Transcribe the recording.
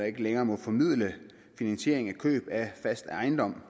ikke længere må formidle finansiering til køb af fast ejendom